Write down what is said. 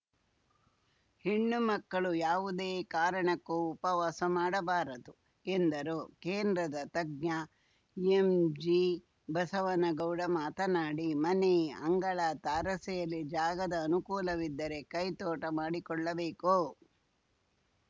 ಹೆಣ್ಣು ಮಕ್ಕಳು ಯಾವುದೇ ಕಾರಣಕ್ಕೂ ಉಪವಾಸ ಮಾಡಬಾರದು ಎಂದರು ಕೇಂದ್ರದ ತಜ್ಞ ಎಂಜಿಬಸವನಗೌಡ ಮಾತನಾಡಿ ಮನೆ ಅಂಗಳ ತಾರಸಿಯಲ್ಲಿ ಜಾಗದ ಅನುಕೂಲವಿದ್ದರೆ ಕೈತೋಟ ಮಾಡಿಕೊಳ್ಳಬೇಕು